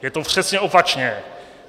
Je to přesně opačně.